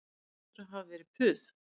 Það hlýtur að hafa verið puð